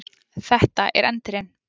Þetta er Endirinn.